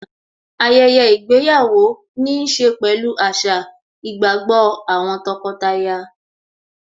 ayẹyẹ ìgbéyàwó níí ṣe pẹ̀lú àṣà, ìgbàgbọ́ àwọn tọkọtaya